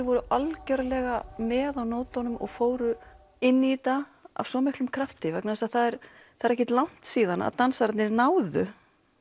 voru algjörlega með á nótunum og fóru inn í þetta af svo miklum krafti vegna þess að það er ekkert langt síðan að dansararnir náðu